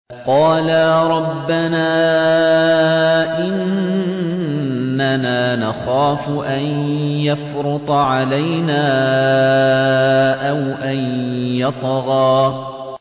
قَالَا رَبَّنَا إِنَّنَا نَخَافُ أَن يَفْرُطَ عَلَيْنَا أَوْ أَن يَطْغَىٰ